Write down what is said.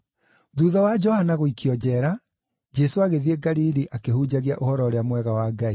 Thuutha wa Johana gũikio njeera, Jesũ agĩthiĩ Galili akĩhunjagia Ũhoro-ũrĩa-Mwega wa Ngai,